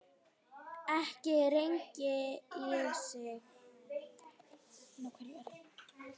ekki rengi ég þig.